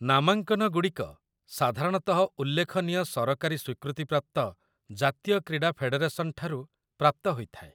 ନାମାଙ୍କନଗୁଡ଼ିକ ସାଧାରଣତଃ ଉଲ୍ଲେଖନୀୟ ସରକାରୀ ସ୍ୱୀକୃତିପ୍ରାପ୍ତ ଜାତୀୟ କ୍ରୀଡ଼ା ଫେଡେରେସନ୍ ଠାରୁ ପ୍ରାପ୍ତ ହୋଇଥାଏ।